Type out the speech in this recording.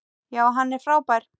Já, hann er frábær.